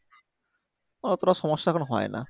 অতটা সমস্যা এখন হয়না